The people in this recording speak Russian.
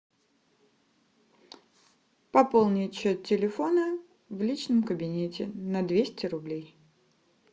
пополнить счет телефона в личном кабинете на двести рублей